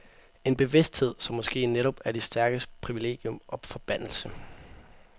En bevidsthed, som måske netop er de stærkes privilegium og forbandelse.